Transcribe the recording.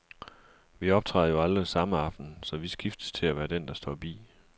Vi optræder jo aldrig samme aften, så vi skiftes til at være den, der står bi.